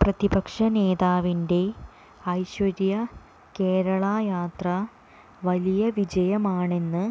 പ്രതിപക്ഷ നേതാവിന്റെ ഐശ്വര്യ കേരള യാത്ര വലിയ വിജയമാണെന്ന്